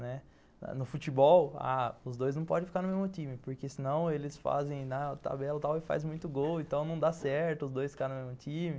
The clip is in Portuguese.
No futebol, ah, os dois não podem ficar no mesmo time, porque senão eles fazem na tabela e faz muito gol, então não dá certo os dois ficarem no mesmo time.